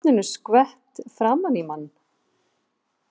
Er vatninu skvett framan í mann.